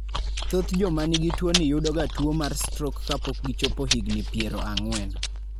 Thoth joma nigi tuwoni yudoga tuwo mar strok kapok gichopo higini piero ang'wen.